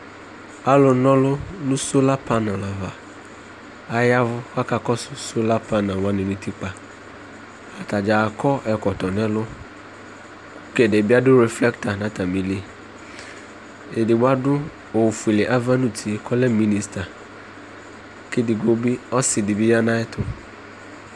Alʋnaɔlʋ nʋ sola pan ava aya ɛvʋ kʋ akakɔsʋ sola pan alʋ wanɩ nʋ utikpa Ata dza akɔ ɛkɔtɔ nʋ ɛlʋ kʋ ɛdɩ bɩ adʋ reflɛkta nʋ atamɩli Edigbo adʋ ofuele ava nʋ uti kʋ ɔlɛ minista kʋ edigbo bɩ ɔsɩ dɩ ya nʋ ayɛtʋ